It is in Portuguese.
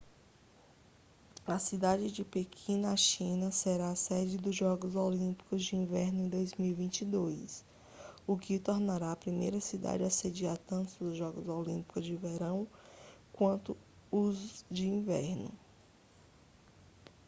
a cidade de pequim na china será a sede dos jogos olímpicos de inverno em 2022 o que a tornará a primeira cidade a sediar tanto os jogos olímpicos de verão quanto os de inverno